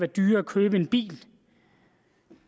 dyrere at købe en bil